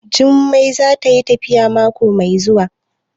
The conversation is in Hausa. Jummai za tayi tafiya mako mai zuwa?